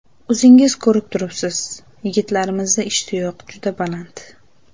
O‘zingiz ko‘rib turibsiz, yigitlarimizda ishtiyoq juda baland.